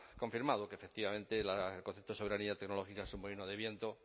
confirmado que efectivamente el concepto de soberanía tecnológica es un molino de viento